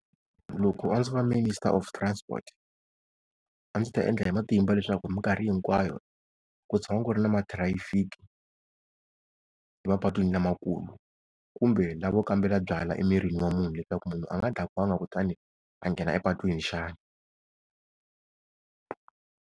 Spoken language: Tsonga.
Loko a ndzi vo minister of transport, a ndzi ta endla hi matimba leswaku hi mikarhi hinkwayo ku tshama ku ri na mathirayifiki mapatwini lamakulu, kumbe lavo kambela byalwa emirini wa munhu leswaku munhu a nga dakwangi, kutani a nghena epatwini xana?